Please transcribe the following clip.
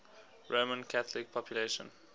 roman catholic population